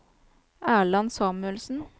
Erland Samuelsen